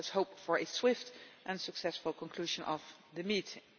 Let us hope for a swift and successful conclusion of the meeting.